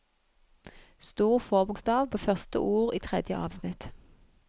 Stor forbokstav på første ord i tredje avsnitt